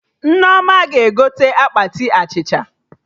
Nneoma ga-egote akpati achịcha